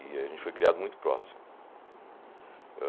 E a gente foi criado muito próximo.